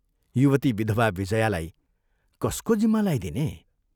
युवती विधवा विजयालाई कसको जिम्मा लाइदिने?